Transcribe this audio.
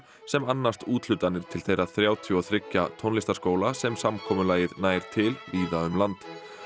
sem annast úthlutanir til þeirra þrjátíu og þrjú tónlistarskóla sem samkomulagið nær til víða um land